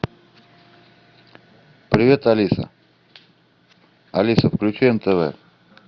привет алиса алиса включи нтв